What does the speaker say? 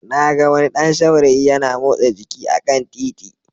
Na ga wani ɗan saurayi yana motsa jiki a kan titi